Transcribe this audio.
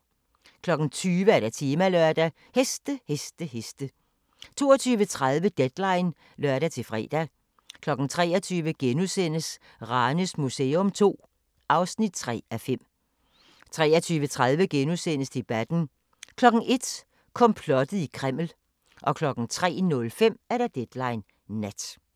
20:00: Temalørdag: Heste, heste, heste 22:30: Deadline (lør-fre) 23:00: Ranes Museum II (3:5)* 23:30: Debatten * 01:00: Komplottet i Kreml 03:05: Deadline Nat